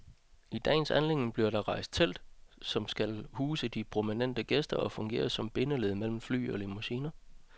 I dagens anledning bliver der rejst et telt, som skal huse de prominente gæster og fungere som bindeled mellem fly og limousiner.